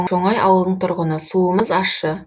шоңай ауылының тұрғыны суымыз ащы